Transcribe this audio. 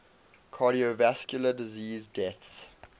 cardiovascular disease deaths